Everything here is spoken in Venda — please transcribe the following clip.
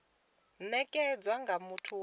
u nekedzwa nga muthu wa